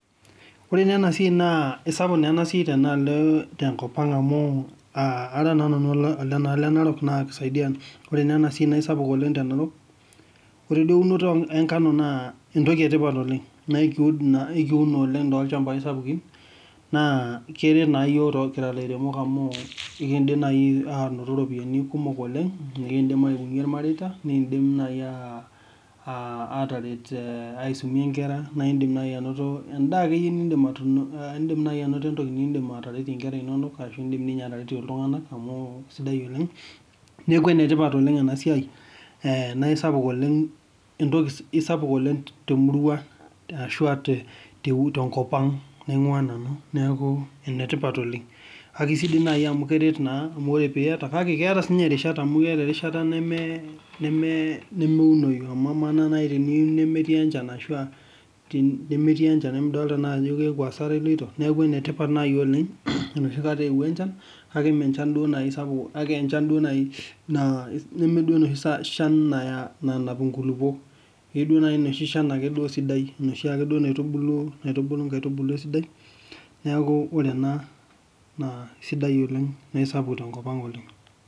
Wore naa enasiai naa kesapuk naa enasiai tenaalo tenkop ang' amu, uh ara naa nanu ele naalo enarok naa kisaidia wore naa enasiai naa eisapuk oleng' te narok. Wore duo eunoto enkanu naa entoki etipat oleng', naa ekiud ekiun oleng' tolchambai sapukin, naa keret naa iyiok kira ilairemok amuu eekindim naaji ainoto iropiyani kumok oleng' nikiidim aibungie ilmareita, nikiidim naai aataret aisumie inkera, naa indim naii ainoto endaa akeyie niidim atun iidim nai ainoto entoki niidim ateretie inkera inonok ashu iidim dii ninye ateretie iltunganak amu sidai oleng'. Neeku enetipat oleng' enasiai naaisapuk oleng' entoki eisapuk oleng' temurua ashua tenkop ang' naingua nanu, neeku enetipat oleng'. Kake sidai naaji amu keret naa amu wore pee iyata, kake keeta sinye irishat amu keeta erishata nemeunoi. Amu kamaa nai tenemetii enchan ashu a nemetii enchan emidoolta naa ajo hasara iloito. Neeku enetipat naaji oleng' enoshi kata eowuo enchan, kake mee enchan duo nai sapuk kake enchan duo nai naa nemeduo enoshi chan naya inkulukok. Keyieu duo naji enoshi Shan ake duo sidai, enoshiake duo naitubulu inkaitubulu esidai. Neeku wore ena naa sidai oleng' naa aisapuk tenkop ang' oleng'.